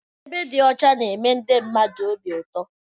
Ebe dị ọcha na-eme ndị mmadụ obi ụtọ.